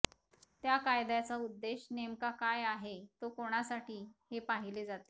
त्या कायद्याचा उद्देश नेमका काय आहे तो कोणासाठी हे पाहिले जाते